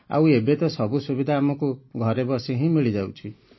ଆଉ ଏବେ ତ ସବୁ ସୁବିଧା ଆମକୁ ଘରେ ବସି ହିଁ ମିଳିଯାଉଛି